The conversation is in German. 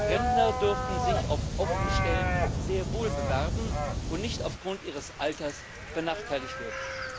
Rentner dürfen sich auf offene Stellen sehr wohl bewerben und nicht aufgrund ihres Alters benachteiligt werden.